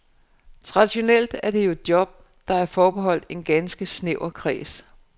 Traditionelt er det jo job, der er forbeholdt en ganske snæver kreds.